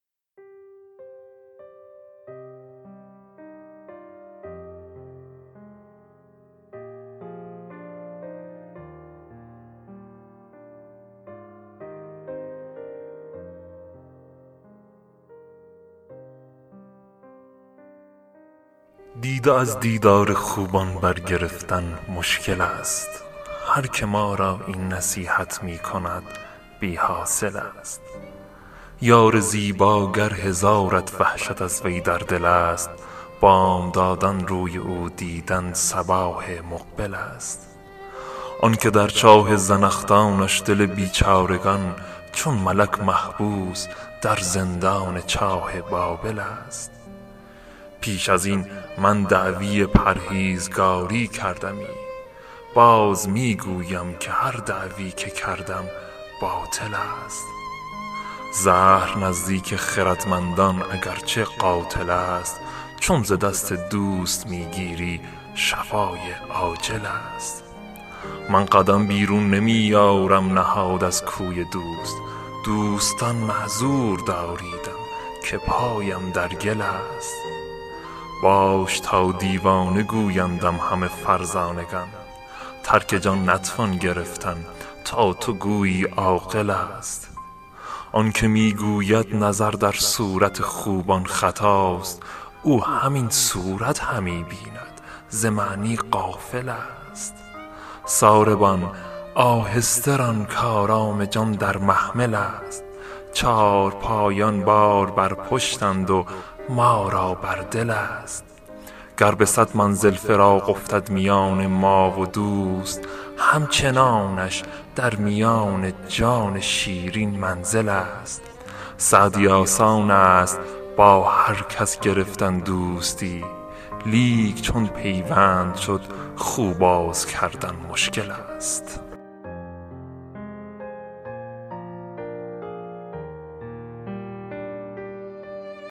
دیده از دیدار خوبان برگرفتن مشکل ست هر که ما را این نصیحت می کند بی حاصل ست یار زیبا گر هزارت وحشت از وی در دل ست بامدادان روی او دیدن صباح مقبل ست آن که در چاه زنخدانش دل بیچارگان چون ملک محبوس در زندان چاه بابل ست پیش از این من دعوی پرهیزگاری کردمی باز می گویم که هر دعوی که کردم باطل ست زهر نزدیک خردمندان اگر چه قاتل ست چون ز دست دوست می گیری شفای عاجل ست من قدم بیرون نمی یارم نهاد از کوی دوست دوستان معذور داریدم که پایم در گل ست باش تا دیوانه گویندم همه فرزانگان ترک جان نتوان گرفتن تا تو گویی عاقل ست آن که می گوید نظر در صورت خوبان خطاست او همین صورت همی بیند ز معنی غافل ست ساربان آهسته ران کآرام جان در محمل ست چارپایان بار بر پشتند و ما را بر دل ست گر به صد منزل فراق افتد میان ما و دوست همچنانش در میان جان شیرین منزل ست سعدی آسان ست با هر کس گرفتن دوستی لیک چون پیوند شد خو باز کردن مشکل ست